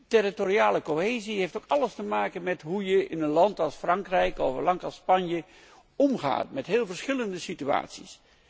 Territoriale cohesie heeft ook alles te maken met hoe je in een land als Frankrijk of Spanje omgaat met heel verschillende situaties.